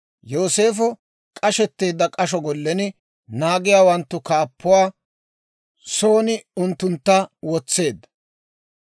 Yooseefo k'ashetteedda k'asho gollen, naagiyaawanttu kaappuwaa son unttuntta wotseedda.